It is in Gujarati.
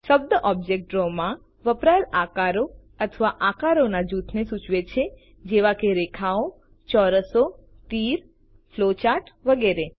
શબ્દ ઑબ્જેક્ટ ડ્રો માં વપરાયેલ આકારો અથવા આકારોના જૂથને સૂચવે છે જેવા કે રેખાઓ ચોરસો તીર ફ્લોચાર્ટ્સ વગેરે